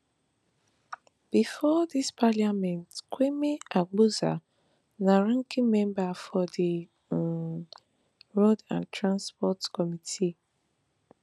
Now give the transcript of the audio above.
bifor dis parliament kwame agbodza na ranking member for di um roads and transport committee